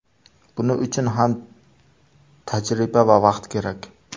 Buning uchun ham tajriba va vaqt kerak.